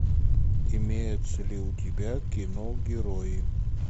имеется ли у тебя кино герои